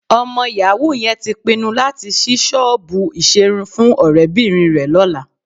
Ọmọ yàwú yẹn tí pinnu láti ṣí ṣọ́ọ̀bù ìṣerun fún ọ̀rẹ́bìnrin rẹ lọ́la